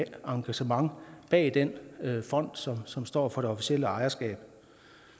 engagement bag den fond som som står for det officielle ejerskab